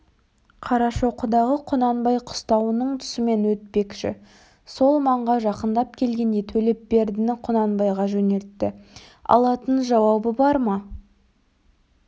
қарашоқыдағы құнанбай қыстауының тұсымен өтпекші сол маңға жақындап келгенде төлепбердіні құнанбайға жөнелтті алатын жауабы бар ма